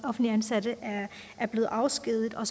offentligt ansatte er blevet afskediget og